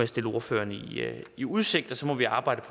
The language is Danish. stille ordførererne udsigt og så må vi arbejde